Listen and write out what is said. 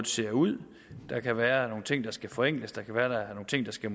ser ud der kan være nogle ting der skal forenkles det kan være der er nogle ting der skal